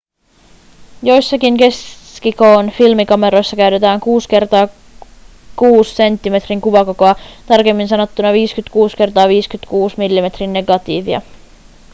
joissakin keskikoon filmikameroissa käytetään 6 × 6 senttimetrin kuvakokoa tarkemmin sanottuna 56 × 56 millimetrin negatiivia